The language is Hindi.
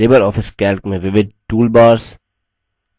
लिबर ऑफिस calc में विविध toolbars